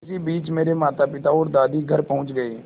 इसी बीच मेरे मातापिता और दादी घर पहुँच गए